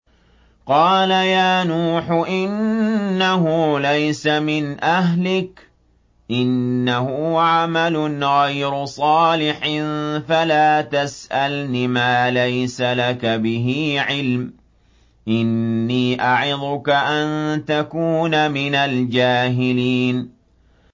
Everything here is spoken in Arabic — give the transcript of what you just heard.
قَالَ يَا نُوحُ إِنَّهُ لَيْسَ مِنْ أَهْلِكَ ۖ إِنَّهُ عَمَلٌ غَيْرُ صَالِحٍ ۖ فَلَا تَسْأَلْنِ مَا لَيْسَ لَكَ بِهِ عِلْمٌ ۖ إِنِّي أَعِظُكَ أَن تَكُونَ مِنَ الْجَاهِلِينَ